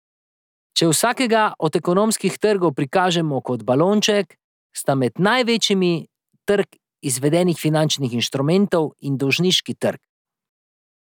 Če vsakega od ekonomskih trgov prikažemo kot balonček, sta med največjimi trg izvedenih finančnih inštrumentov in dolžniški trg.